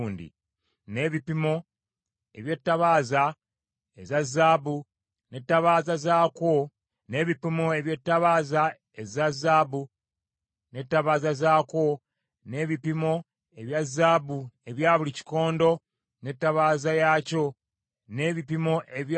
n’ebipimo eby’ettabaaza eza zaabu, n’ettabaaza zaakwo, n’ebipimo ebya zaabu ebya buli kikondo n’ettabaaza yaakyo, n’ebipimo ebya buli kikondo ekya ffeeza n’ettabaaza yaakyo;